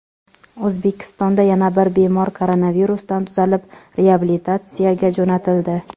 O‘zbekistonda yana bir bemor koronavirusdan tuzalib, reabilitatsiyaga jo‘natildi.